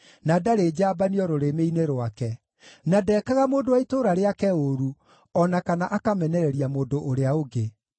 na ndarĩ njambanio rũrĩmĩ-inĩ rwake, na ndeekaga mũndũ wa itũũra rĩake ũũru, o na kana akamenereria mũndũ ũrĩa ũngĩ;